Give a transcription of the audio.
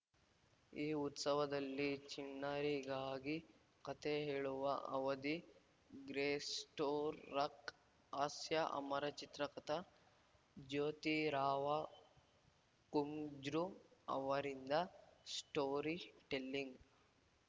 ಈ ಉತ್ಸವದಲ್ಲಿ ಚಿಣ್ಣರಿಗಾಗಿ ಕಥೆ ಹೇಳುವ ಅವಧಿಗ್ರೇಸ್ಟೋರಕ್‌ ಹಾಸ್ಯಅಮರ ಚಿತ್ರ ಕಥಾ ಜ್ಯೋತಿ ರಾವ ಕುಂಜ್ರು ಅವರಿಂದ ಸ್ಟೋರಿ ಟೆಲ್ಲಿಂಗ್‌